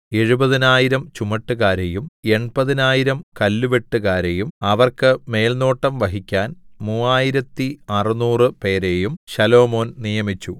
എഴുപതിനായിരം ചുമട്ടുകാരെയും എൺപതിനായിരം കല്ലുവെട്ടുകാരെയും അവർക്ക് മേൽനോട്ടം വഹിക്കാൻ മൂവായിരത്തി അറുനൂറുപേരെയും ശലോമോൻ നിയമിച്ചു